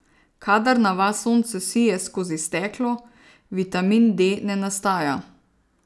Kadar na vas sonce sije skozi steklo, vitamin D ne nastaja.